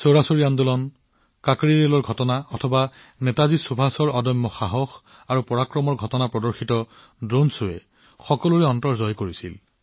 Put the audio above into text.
চৌৰী চৌৰা আন্দোলন কাকোৰী ৰেলৰ ঘটনাই হওক বা নেতাজী সুভাষৰ অদম্য সাহস আৰু বীৰত্বই হওক এই ড্ৰোণ শ্বয়ে সকলোৰে হৃদয় জয় কৰিছিল